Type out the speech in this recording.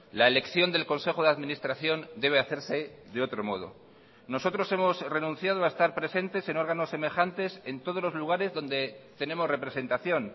la elección del consejo de administración debe hacerse de otro modo nosotros hemos renunciado a estar presentes en órganos semejantes en todos los lugares donde tenemos representación